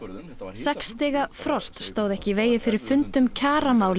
sex stiga frost stóð ekki í vegi fyrir fundi um kjaramál í